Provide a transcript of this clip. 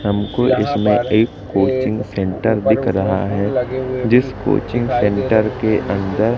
हमको इसमें coaching centre दिख रहा है जिसको कोचिंग सेंटर के अंदर--